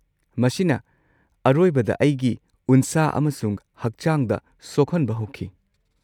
ꯃꯁꯤꯅ ꯑꯔꯣꯏꯕꯗ ꯑꯩꯒꯤ ꯎꯟꯁꯥ ꯑꯃꯁꯨꯡ ꯍꯛꯆꯥꯡꯗ ꯁꯣꯛꯍꯟꯕ ꯍꯧꯈꯤ꯫